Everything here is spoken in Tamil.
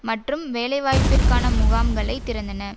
மற்றும் வேலைவாய்ப்பிற்கான முகாமைகளை திறந்தன